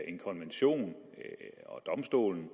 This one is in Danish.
en konvention og domstolen